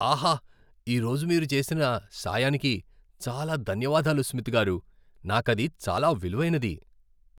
ఆహా, ఈరోజు మీరు చేసిన సాయానికి చాలా ధన్యవాదాలు స్మిత్ గారూ. నాకది చాలా విలువైనది!